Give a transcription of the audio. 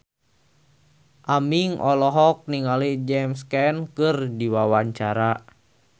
Aming olohok ningali James Caan keur diwawancara